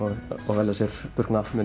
velja sér